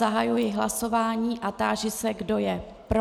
Zahajuji hlasování a táži se, kdo je pro.